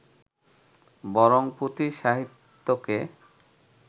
বরং পুঁথি সাহিত্যকে